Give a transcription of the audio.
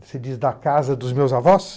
Você diz da casa dos meus avós?